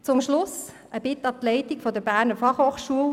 Zum Schluss eine Bitte an die Leitung der BFH: